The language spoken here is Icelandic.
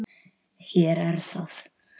Hér er það!